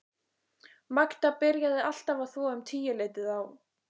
Magda byrjaði alltaf að þvo um tíuleytið á